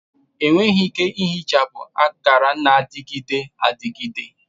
Enweghị ike ihichapụ akara na-adịgide adịgide